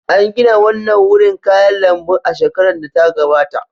An gina wannan wurin kayan lambun a shekarar da ta gabata.